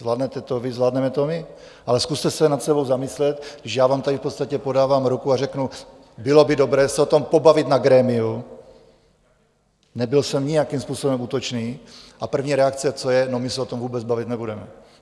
Zvládnete to vy, zvládneme to my, ale zkuste se nad sebou zamyslet, když já vám tady v podstatě podávám ruku a řeknu, bylo by dobré se o tom pobavit na grémiu, nebyl jsem nijakým způsobem útočný, a první reakce, co je: No my se o tom vůbec bavit nebudeme!